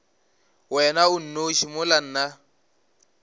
wena o nnoši mola nna